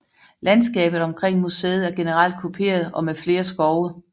Landskabet omkring museet er generelt kuperet og med flere skove